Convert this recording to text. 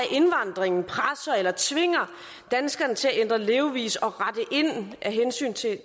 indvandringen presser eller tvinger danskerne til at ændre levevis og rette ind af hensyn til